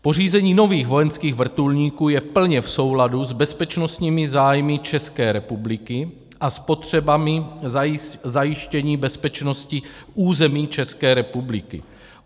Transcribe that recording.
Pořízení nových vojenských vrtulníků je plně v souladu s bezpečnostními zájmy České republiky a s potřebami zajištění bezpečnosti území České republiky.